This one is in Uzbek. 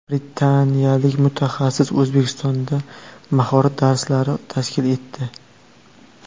Britaniyalik mutaxassis O‘zbekistonda mahorat darslari tashkil etdi.